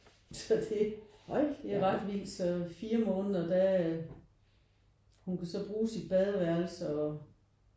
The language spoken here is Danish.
Så det det er ret vildt så 4 måneder der hun kunne så godt bruge sit badeværelse og